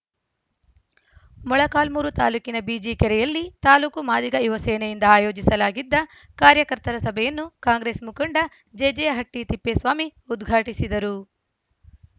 ಮೊಳಕಾಲ್ಮುರು ತಾಲೂಕಿನ ಬಿಜಿಕೆರೆಯಲ್ಲಿ ತಾಲೂಕು ಮಾದಿಗ ಯುವ ಸೇನೆಯಿಂದ ಆಯೋಜಿಸಲಾಗಿದ್ದ ಕಾರ್ಯಕರ್ತರ ಸಭೆಯನ್ನು ಕಾಂಗ್ರೆಸ್‌ ಮುಖಂಡ ಜೆಜೆ ಹಟ್ಟಿ ತಿಪ್ಪೇಸ್ವಾಮಿ ಉದ್ಘಾಟಿಸಿದರು